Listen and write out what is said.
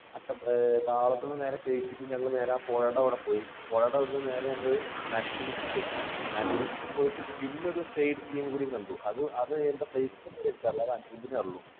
താവളത്തുനിന്ന് നേരെ കഴിച്ചിട്ട് ഞങ്ങൾ ഞങ്ങളുടെ ആ പുഴയുടെ അവിടെ പോയി. പുഴയുടെ അവിടെനിന്ന് നേരെ ഞങ്ങൾ നരസിംമുക്കിൽ പോയി നരസിമുക്കിൽ പോയിട്ട് പിന്നെ ഒരു കൂടി കണ്ടു. അത് എന്താ place എന്ന് എനിക്കറിയില്ല, അനിരുദ്ധിനേ അറിയൂ.